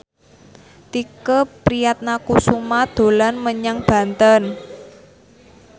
Tike Priatnakusuma dolan menyang Banten